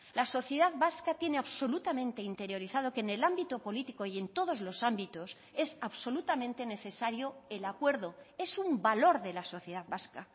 la sociedad vasca tiene absolutamente interiorizado que en el ámbito político y en todos los ámbitos es absolutamente necesario el acuerdo es un valor de la sociedad vasca